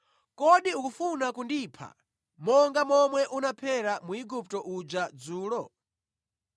Kodi ukufuna kundipha monga momwe unaphera Mwigupto uja dzulo?’